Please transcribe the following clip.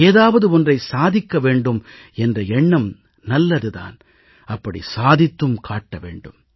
ஏதாவது ஒன்றை சாதிக்க வேண்டும் என்ற எண்ணம் நல்லது தான் அப்படி சாதித்தும் காட்ட வேண்டும்